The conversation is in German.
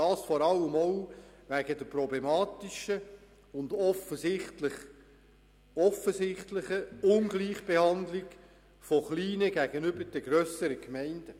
Dies tue ich vor allem auch wegen der problematischen und offensichtlichen Ungleichbehandlung von kleineren gegenüber grösseren Gemeinden.